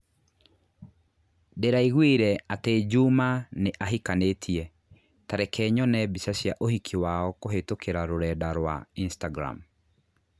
Ndĩraiguire atĩ Juma nĩ ahikanĩtie, ta reke nyone mbica cia ũhiki wao kũhītũkīra rũrenda rũa Instagram